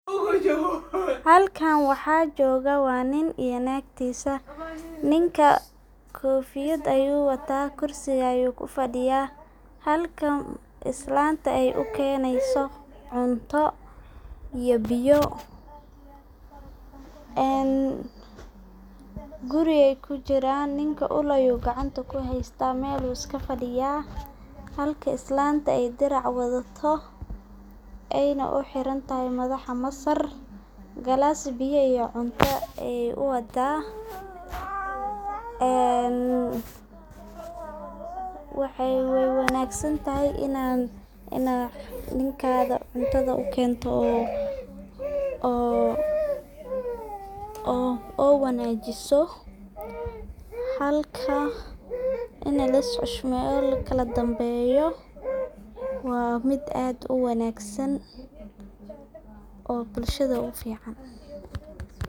Halkan waxa jogaa wa nin iyo nagtisa .Ninkamkofyad ayu wataa halka islanta ay u keneso cunto iyo biyo guriga ay kujiran ninka uul ayu gacanta uu kuheysta wuu iska fadiya, halka islanta ay dirac wadato, ayna u xiran tahay madaxa masar galas biyo iyo cunto ay u wadaa ,wey wanagsan tahay inaa ninkaga cuntada u kento oo wanajiso .Halka ini lais xushmeyo lakala danbeyo waa mid aad u wanagsan oo bulshada u fican.